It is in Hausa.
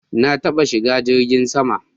Na taɓa shiga jirgin sama